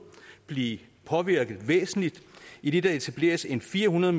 blive påvirket væsentligt idet der etableres en fire hundrede